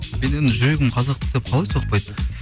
мен енді жүрегім қазақ деп қалай соқпайды